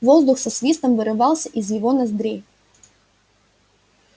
воздух со свистом вырывался из его ноздрей